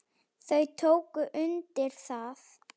Þau tóku undir það.